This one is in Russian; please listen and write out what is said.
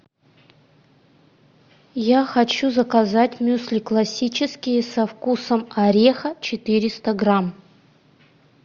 я хочу заказать мюсли классические со вкусом ореха четыреста грамм